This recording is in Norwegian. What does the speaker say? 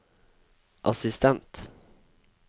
assistent